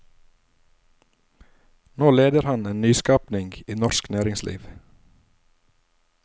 Nå leder han en en nyskapning i norsk næringsliv.